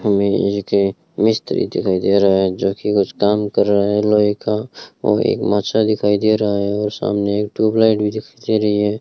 मिस्त्री दिखाई दे रहा है जो की कुछ काम कर रहा है लोहे का और एक दिखाई दे रहा है और सामने एक ट्यूबलाइट भी दिखाई दे रही है।